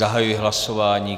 Zahajuji hlasování.